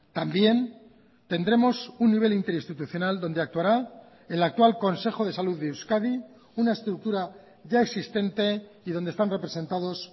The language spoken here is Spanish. también tendremos un nivel interinstitucional donde actuará el actual consejo de salud de euskadi una estructura ya existente y donde están representados